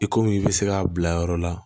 I komi i bɛ se k'a bila yɔrɔ la